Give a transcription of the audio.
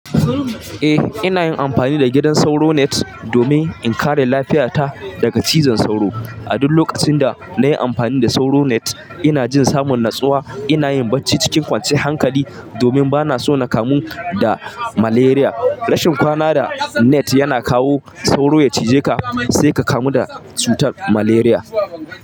Eh, ina yin amfani da gidan sauro net domin in kare lafiyata daga cizon sauro. A duk lokacin da na yi amfani da sauro net ina jin samun natsuwa. Ina yin bacci cikin kwanciyar hankali domin ba na so na kamu da malaria. Rashin kwana da net yana kawo sauro ya cije ka sai ka kamu da cutar malaria.